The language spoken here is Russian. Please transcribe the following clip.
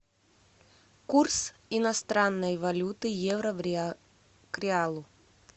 курс иностранной валюты евро к реалу